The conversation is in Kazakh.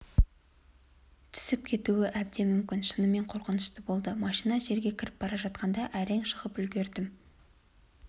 түсіп кетуі әбден мүмкін шынымен қорқынышты болды машина жерге кіріп бара жатқанда әрең шығып үлгердім